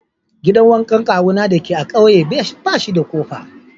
Gidan wankan kawuna dake a'ƙauye bashi da kofa.